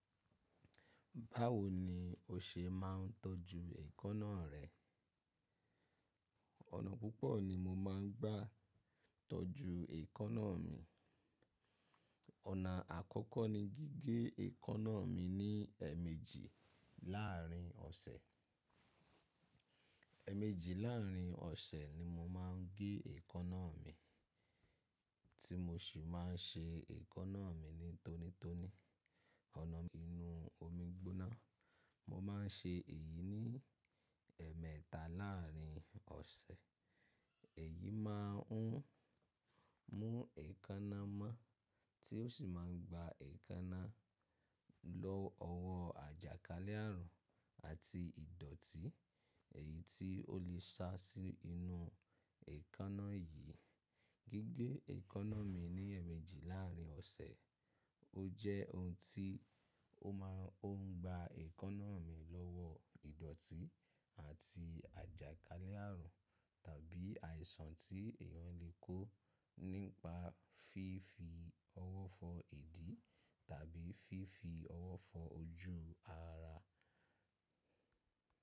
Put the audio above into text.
Báwo ni o ṣe máà ń tọ́jú èékánná rẹ? Ọ̀nà púpọ̀ ni mo máa ń gbà tọ́jú èékánná mi. Ọ̀nà àkọ́kọ́ ni gígé èékánná mi ní ẹ̀ẹ̀mejì láàrin ọ̀sẹ̀. Ẹ̀ẹ̀mejì láàrin ọ̀sẹ̀ ni mo máa ń gé èékánná mi, tí mo sì máà ń ṣe èékánná mi nítónító ní ọ̀nà inú omi gbóná. Mo máà ń ṣe èyí ní ẹ̀ẹ̀mẹ́ta láàrin ọ̀sẹ̀. Èyí máà ń mú èékánná mọ́ tí ó sì máa ń gba èékánná lọ́wọ́ àjàkálẹ̀ àrùn àti ìdọ̀tí èyí tí ó lè sá sí inú èékánná yìí. Gígé èékánná mi ní ẹ̀ẹ̀mejì láàrin ọ̀sẹ̀, ó jẹ́ ohun tí ó máa ń gba èékánná mi lọ́wọ́ ìdọ̀tí àti àjàkálẹ̀ àrùn tàbí àìsàn tí èèyàn lè kó nípa fífi ọwọ́ fọ́ ìdí tàbí fífi ọwọ́ fọ́ ojú ara.